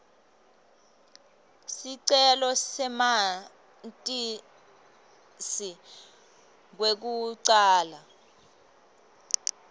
sicelo samatisi kwekucala